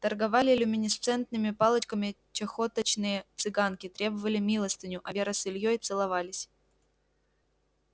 торговали люминесцентными палочками чахоточные цыганки требовали милостыню а вера с ильёй целовались